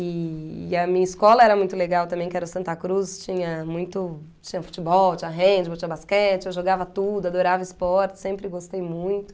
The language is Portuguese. E a minha escola era muito legal também, que era o Santa Cruz, tinha muito... Tinha futebol, tinha handball, tinha basquete, eu jogava tudo, adorava esporte, sempre gostei muito.